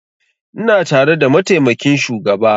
Ina tare da mataimakin shugaba